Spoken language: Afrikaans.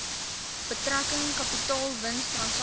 betrekking kapitaalwins transaksies